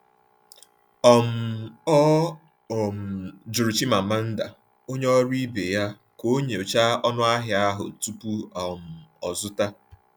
um Ọ um jụrụ Chimamanda, onye ọrụ ibe ya, ka ọ nyochaa ọnụahịa ahụ tupu um o zụta.